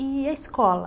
E a escola?